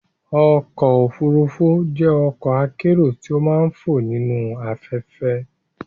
ọ̀kọ̀ ofúrúfú jẹ́ ọ̀kọ̀ akérò ti ó màà ń fò nīnu afẹ̀fẹ́